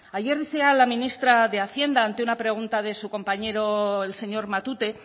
ayer decía la ministra de hacienda ante una pregunta de su compañero el señor matute